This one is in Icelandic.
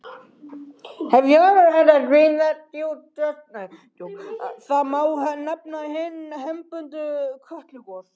Þá má nefna hin hefðbundnu Kötlugos.